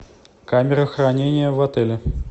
камера хранения в отеле